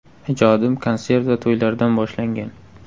Ijodim konsert va to‘ylardan boshlangan.